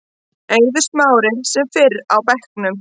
Eiður Smári sem fyrr á bekknum